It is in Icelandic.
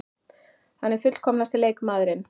Hann er fullkomnasti leikmaðurinn.